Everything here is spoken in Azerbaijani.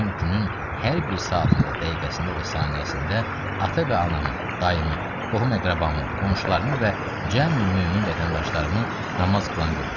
mən günün hər bir saatında, dəqiqəsində və saniyəsində atamın, dayımın, qohum-əqrabamın, qonşularımın və cəmi mömin vətəndaşlarımı namaz qılan görmüşəm.